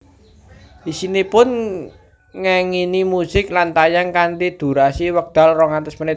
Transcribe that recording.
Isinipun ngengingi musik lan tayang kanthi dhurasi wekdal rong atus menit